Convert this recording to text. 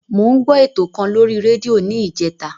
Mo ń gbọ́ ètò kan lórí rédíò ni ìjẹta.